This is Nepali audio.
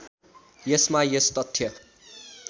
यसमा यस तथ्य